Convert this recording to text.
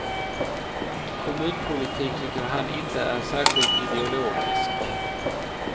Kommunpolitik tycker han inte är särskilt ideologisk.